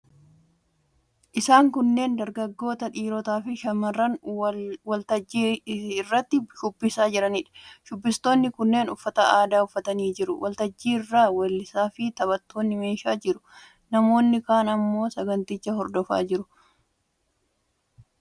Isaan kunneen dargaggoota, dhiirotaafi shamarran waltajjii irratti shubbisaa jiraniidha. Shubbistoonni kunneen uffata aadaa uffatanii jiru. Waltajjicha irra weellisaafi taphattoonni meeshaan jiru. Namoonni kaan immoo saganticha hordofaa jiru. Uffatni aadaa shubbistoonni uffatanii jiran kan saba kamiiti?